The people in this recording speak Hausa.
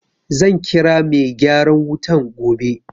Zan kira mai gyaran wutan gobe.